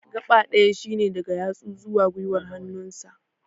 gaɓa ɗaya shine daga yatsu zuwa gwiwar hannun sa